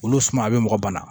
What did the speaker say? Olu suma a bɛ mɔgɔ bana